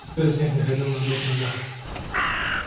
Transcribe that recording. кто из них не ходил на двух ногах